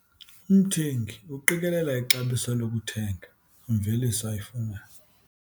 Umthengi uqikelela ixabiso lokuthega imveliso ayifunayo.